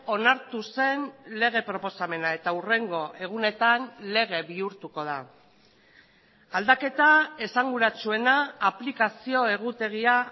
onartu zen lege proposamena eta hurrengo egunetan lege bihurtuko da aldaketa esanguratsuena aplikazio egutegia